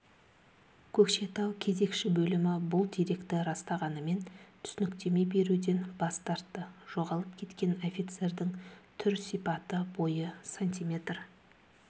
көкшетау кезекші бөлімі бұл деректі растағанымен түсініктеме беруден бас тартты жоғалып кеткен офицердің түр-сипаты бойы сантиметр